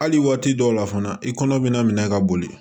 Hali waati dɔw la fana i kɔnɔ bɛna minɛ ka boli